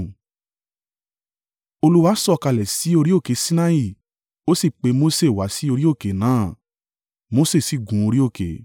Olúwa sọ̀kalẹ̀ sí orí òkè Sinai, o sì pe Mose wá sí orí òkè náà. Mose sì gun orí òkè.